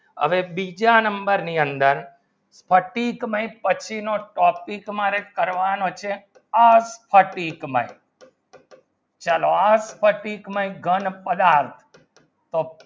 હવે બીજા number ની અંદર ફટીક પછીનો topic મારે કરવાનો છે આ ફટીક મેં ચલો આ ફટીક મેંઘન પદાર્થ તો